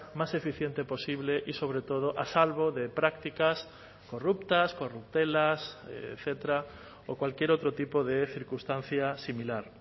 más eficiente posible y sobre todo a salvo de prácticas corruptas corruptelas etcétera o cualquier otro tipo de circunstancia similar